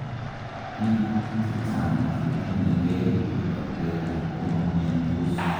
biik chechang chetinyegei ak bacteria komo miandos